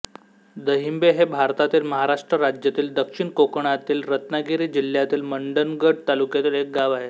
दहिंबे हे भारतातील महाराष्ट्र राज्यातील दक्षिण कोकणातील रत्नागिरी जिल्ह्यातील मंडणगड तालुक्यातील एक गाव आहे